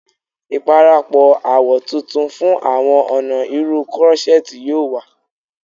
Iparapọ awọ tuntun fun awọn ọna irun crochet yoo wa